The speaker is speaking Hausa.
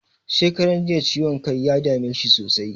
Shekaran jiya ciwon kai ya dame shi sosai.